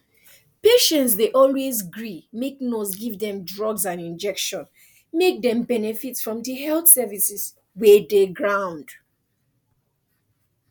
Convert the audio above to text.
patients dey always gree make nurse give dem drugs and injection make dem benefit from di health services wey dey ground